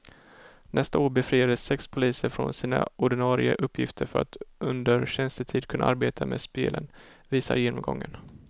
Nästa år befriades sex poliser från sina ordinarie uppgifter för att under tjänstetid kunna arbeta med spelen, visar genomgången.